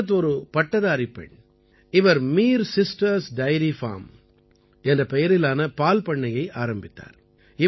இஷ்ரத் ஒரு பட்டதாரிப் பெண் இவர் மீர் சிஸ்டர்ஸ் டைரி ஃபார்ம் என்ற பெயரிலான பால் பண்ணையை ஆரம்பித்தார்